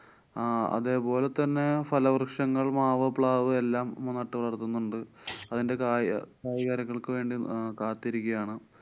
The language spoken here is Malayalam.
ആഹ് അതേപോലെതന്നെ ഫലവൃക്ഷങ്ങള്‍ മാവ്, പ്ലാവ് എല്ലാം നാട്ടു വളര്‍ത്തുന്നുണ്ട്. അതിന്‍ടെ കായ~ കായ്കനികള്‍ക്ക് വേണ്ടി കാത്തിരിക്കാണ്.